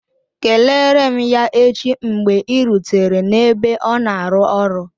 Kelere m ya echi mgbe ị rutere n'ebe ọ na-arụ ọrụ